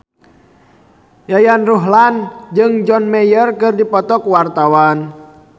Yayan Ruhlan jeung John Mayer keur dipoto ku wartawan